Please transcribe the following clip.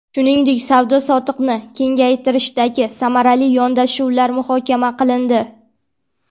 Shuningdek, savdo-sotiqni kengaytirishdagi samarali yondashuvlar muhokama qilindi.